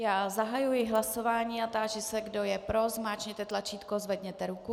Já zahajuji hlasování a táži se, kdo je pro, zmáčkněte tlačítko, zvedněte ruku.